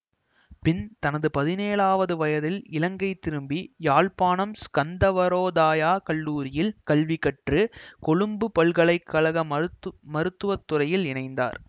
பின் தனது பதினேழாவது வயதில் இலங்கை திரும்பி யாழ்ப்பாணம் ஸ்கந்தவரோதாயாக் கல்லூரியில் கல்வி கற்று கொழும்பு பல்கலை கழக மருத்து மருத்துவத்துறையில் இணைந்தார்